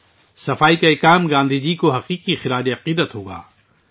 صفائی ستھرائی کا یہ کام گاندھی جی کو حقیقی خراج عقیدت ہوگا